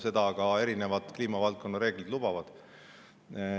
Seda ka erinevad kliimavaldkonna reeglid lubavad.